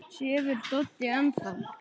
Sefur Doddi enn þá?